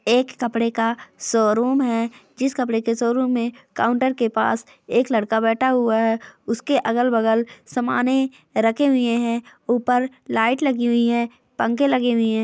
एक कपड़े का शोरूम है। जिस कपड़े के शोरूम में काउंटर के पास एक लड़का बैठा हुआ है। उसके अलग बगल समाने रखे हुए हैं। ऊपर लाइट लगी हुई है पंखे लगे हुइ हैं।